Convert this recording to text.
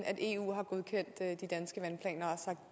at eu har godkendt de danske vandplaner